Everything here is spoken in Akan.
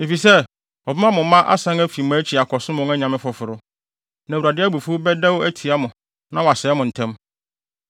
Efisɛ wɔbɛma mo mma asan afi mʼakyi akɔsom wɔn anyame foforo. Na Awurade abufuw bɛdɛw atia mo na wasɛe mo ntɛm.